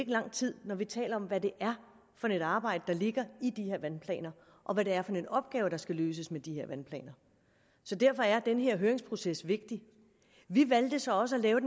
lang tid når vi taler om hvad det er for et arbejde der ligger i de her vandplaner og hvad det er for en opgave der skal løses med de her vandplaner så derfor er den her høringsproces vigtig vi valgte så også at lave